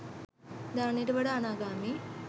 දානයට වඩා අනාගාමි